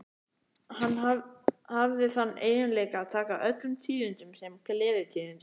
Hann hafði þann eiginleika að taka öllum tíðindum sem gleðitíðindum.